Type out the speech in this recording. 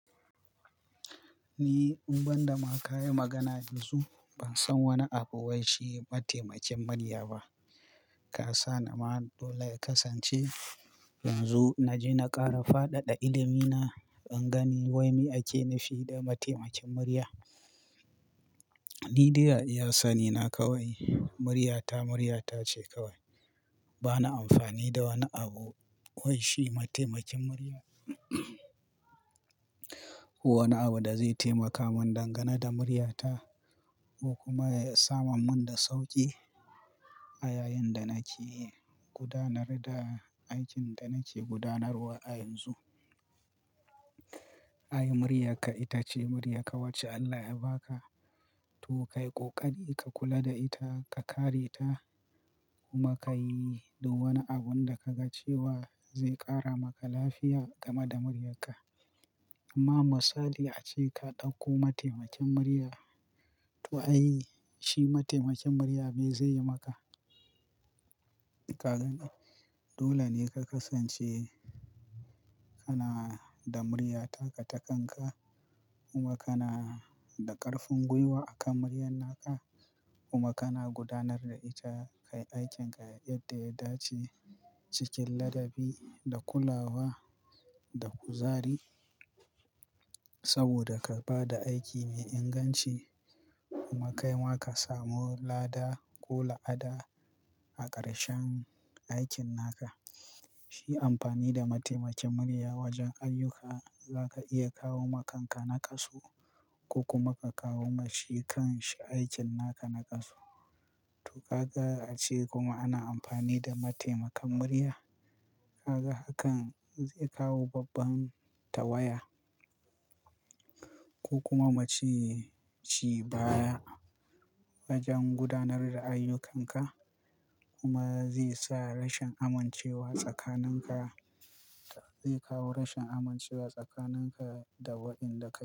Ni, in ban da ma ka yi magana yanzu, ban san wani abu wai shi mataimakin murya ba. Ka sa ni ma dole ya kasance inzo y na je na ƙara fadada ilimi na in gani wai me ake nufi da mataimakin murya. Ni dai a iya sani na kawai, muryata muryata ce kawai. Bana amfani da wani abu wai shi mataimakin murya. Wani abu da zai taimaka mun dangana ne da muryata ko kuma ya samamin da sauƙi a yayin da nake gudanar da aikin da nake gudanarwa a yanzu. Ai, muryarka ita ce muryarka, wacce Allah ya baka. To, ka yi ƙoƙari ka kula da ita, ka kare ta kuma ka yi duk wani abun da ka ga cewa zai ƙara maka lafiya game da muryarka. Amma misali ace ka ɗauko mataimakin murya. To ai, shi mataimakin murya me zai yi maka? Ka gan, dole ne ka kasance kana da murya taka takan ka kuma kana da ƙarfin gwiwa akan muryan naka kuma kana gudanar da ita kai aikin ka yadda ya dace cikin ladabi da kulawa da kuzari. Saboda ka ba da aiki mai inganci kuma kai ma ka samu lada ko la'ana a ƙarshen aikin naka. Shi amfani da mataimakin murya wajen ayyuka, za ka iya kawo ma kanka nakasu ko kuma ka kawo ma shi kan shi aikin naka nakasu. To, ka ga ace kuma ana amfani da mataimakan murya. Ka ga hakan zai kawo babban tawaya ko kuma muce ci baya wajen gudanar da ayyukanka kuma zai sa rashin amincewa tsakaninka, zai kawo rashin amincewa tsakaninka da waƴanda.